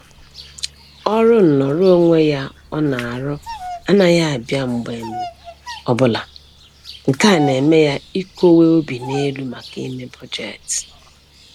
Ọrụ nnọrọ onwe ya ọ na-arụ anaghị abịa mgbe ọbụla, nke a na-eme ya ikowe obi n'elu maka ime bọjetị